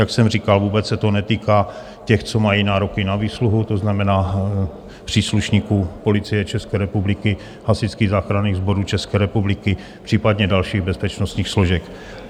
Jak jsem říkal, vůbec se to netýká těch, co mají nároky na výsluhu, to znamená příslušníků Policie České republiky, Hasičských záchranných sborů České republiky, případně dalších bezpečnostních složek.